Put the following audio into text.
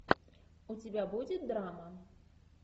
у тебя будет драма